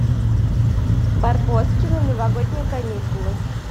барбоскины новогодние каникулы